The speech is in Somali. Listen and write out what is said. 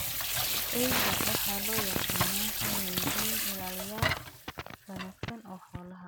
Eyda waxaa loo yaqaanaa inay yihiin ilaaliyeyaal wanaagsan oo xoolaha ah.